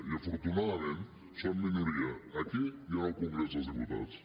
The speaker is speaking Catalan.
i afortunadament són minoria aquí i al congrés dels diputats